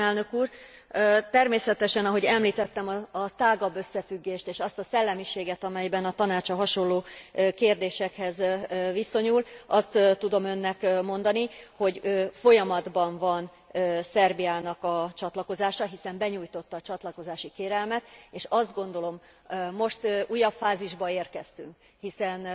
Elnök úr! Természetesen, ahogy említette a tágabb összefüggést és azt a szellemiséget, amiben a Tanács a hasonló kérdésekhez viszonyul, azt tudom Önnek mondani, hogy folyamatban van Szerbiának a csatlakozása, hiszen begyújtotta a csatlakozási kérelmet, és azt gondolom, hogy most újabb fázisba érkeztünk, hiszen